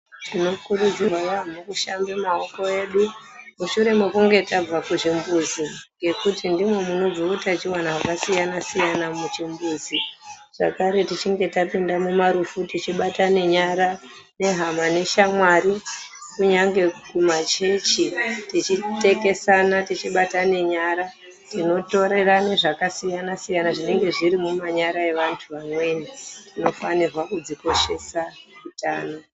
Tinokurudzirwa yaampho kushambe maoko edu mushure mekunge tabva kuzvimbuzi. Ngekuti ndimo munobve utachiwana hwakasiyana siyana muchimbuzi zvakare tichinge tapinda mumarufu tichibatane nyara nehama neshamwari kunyange kumachechi teichitekesana tichibatane nyara tinotorerane zvakasiyana siyana zvinenge zviri mumanyara evantu vamweni. Tinofanirwa kudzikoshesa utano.